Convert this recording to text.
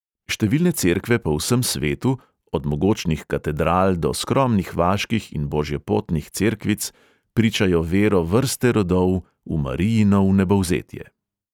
Številne cerkve po vsem svetu, od mogočnih katedral do skromnih vaških in božjepotnih cerkvic, pričajo vero vrste rodov v marijino vnebovzetje.